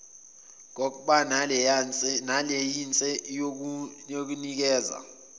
kokba nelayinse yokunikeza